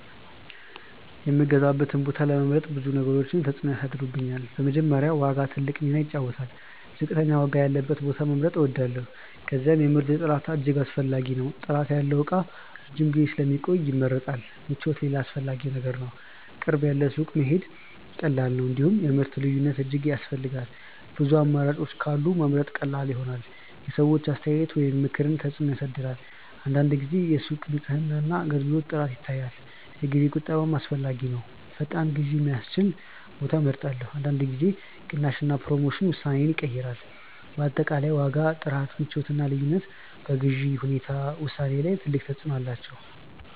የምገዛበትን ቦታ ለመምረጥ ብዙ ነገሮች ተጽዕኖ ያሳድራሉ። በመጀመሪያ ዋጋ ትልቅ ሚና ይጫወታል፤ ዝቅተኛ ዋጋ ያለበትን ቦታ መምረጥ እወዳለሁ። ከዚያም የምርት ጥራት እጅግ አስፈላጊ ነው። ጥራት ያለው እቃ ረጅም ጊዜ ስለሚቆይ ይመረጣል። ምቾትም ሌላ አስፈላጊ ነገር ነው፤ ቅርብ ያለ ሱቅ መሄድ ቀላል ነው። እንዲሁም የምርት ልዩነት እጅግ ያስፈልጋል፤ ብዙ አማራጮች ካሉ መምረጥ ቀላል ይሆናል። የሰዎች አስተያየት ወይም ምክርም ተጽዕኖ ያሳድራል። አንዳንድ ጊዜ የሱቅ ንጽህና እና አገልግሎት ጥራት ይታያል። የጊዜ ቁጠባም አስፈላጊ ነው፤ ፈጣን ግዢ የሚያስችል ቦታ እመርጣለሁ። አንዳንድ ጊዜ ቅናሽ እና ፕሮሞሽን ውሳኔዬን ይቀይራል። በአጠቃላይ ዋጋ፣ ጥራት፣ ምቾት እና ልዩነት በግዢ ውሳኔዬ ላይ ትልቅ ተጽዕኖ አላቸው።